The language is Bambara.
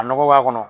A nɔgɔ b'a kɔnɔ